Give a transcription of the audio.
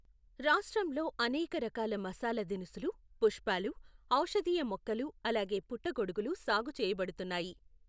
రాష్ట్రంలో అనేక రకాల మసాలా దినుసులు, పుష్పాలు, ఔషధీయ మొక్కలు, అలాగే పుట్టగొడుగులు సాగు చేయబడుతున్నాయి.